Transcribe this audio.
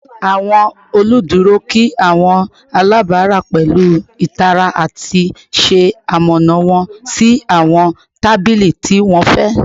Awọn oluduro kí awọn alabara pẹlu itara ati ṣe amọna wọn si awọn tabili ti wọn fẹ